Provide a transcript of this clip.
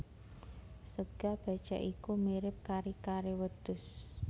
Sega bécèk iku mirip kari kare wedhus